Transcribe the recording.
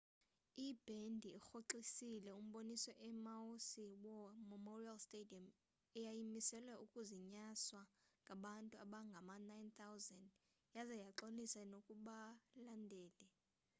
ibhendi irhoxisile umboniso emaui's war memorial stadium eyayimiselwe ukuzinyaswa ngabantu abangama-9,000 yaza yaxolisa nakubalandeli